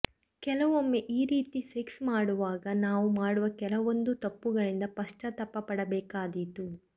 ಕೆಲವೊಮ್ಮೆ ಈ ರೀತಿ ಸೆಕ್ಸ್ ಮಾಡುವಾಗ ನಾವು ಮಾಡುವ ಕೆಲವೊಂದು ತಪ್ಪುಗಳಿಂದ ಪಶ್ಚಾತ್ತಾಪ ಪಡಬೇಕಾದೀತು